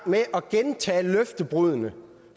med at gentage løftebruddene